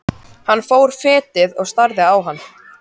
Hann fór fetið og starði á hana.